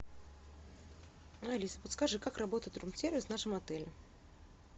алиса подскажи как работает рум сервис в нашем отеле